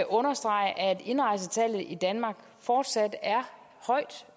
understrege at indrejsetallet i danmark fortsat